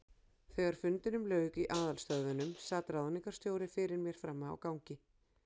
Þegar fundinum lauk í aðalstöðvunum, sat ráðningarstjóri fyrir mér frammi á gangi.